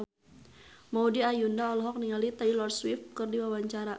Maudy Ayunda olohok ningali Taylor Swift keur diwawancara